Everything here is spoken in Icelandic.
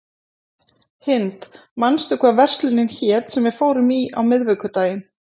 Hind, manstu hvað verslunin hét sem við fórum í á miðvikudaginn?